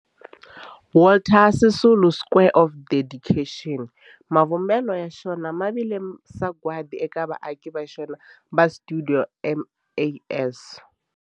Walter Sisulu Square of Dedication, mavumbelo ya xona ya vile sagwadi eka vaaki va xona va stuidio MAS.